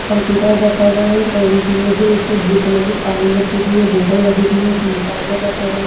Computer रखा हुआ है एक और एक मेज है उस पे ब्लू कलर की फाइल रखी हुई है बोतल लगी हुई है सेनीटाइजर रखा हुआ है।